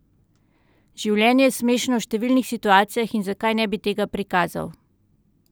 Življenje je smešno v številnih situacijah in zakaj ne bi tega prikazal?